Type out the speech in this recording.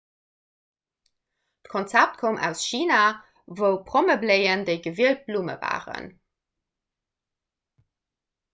d'konzept koum aus china wou prommebléien déi gewielt blumm waren